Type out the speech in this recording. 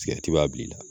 Sigɛriti b'a bilali la